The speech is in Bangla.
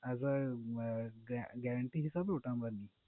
As a guarantee হিসেবে ওটা আমরা নিই।